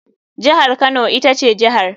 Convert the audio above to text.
Jihar kano ita ce jihar.